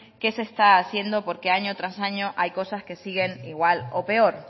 que se está haciendo porque año tras año hay cosas que siguen igual o peor